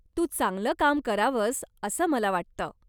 तू चांगलं काम करावंस असं मला वाटतं.